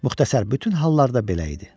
Müxtəsər, bütün hallarda belə idi.